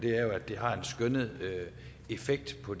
er at det har en skønnet effekt på